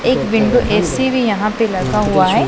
एक window A C भी यहां पे लगा हुआ है।